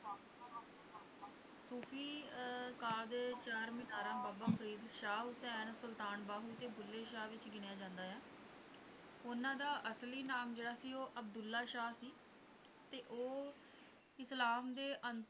ਸੂਫ਼ੀ ਅਕਾਦ ਦੇ ਚਾਰ ਮੀਨਾਰਾਂ ਸ਼ਾਹ ਹੁਸੈਨ ਸੁਲਤਾਨ ਬਾਹੁ ਕੇ ਬੁੱਲੇ ਸ਼ਾਹ ਵਿੱਚ ਗਿਣਿਆ ਜਾਂਦਾ ਆ, ਉਹਨਾਂ ਦਾ ਅਸਲੀ ਨਾਮ ਜਿਹੜਾ ਸੀ ਉਹ ਅਬਦੁੱਲਾ ਸ਼ਾਹ ਸੀ ਤੇ ਉਹ ਇਸਲਾਮ ਦੇ